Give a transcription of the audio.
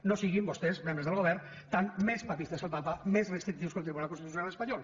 no siguin vostès membres del govern més papistes que el papa més restrictius que el tribunal constitucional espanyol